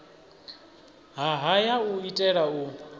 ha haya u itela u